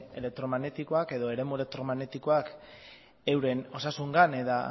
elektromagnetikoak edo eremu elektromagnetikoak euren osasunarengan eta